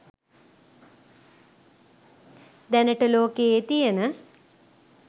දැනට ලෝකයේ තියන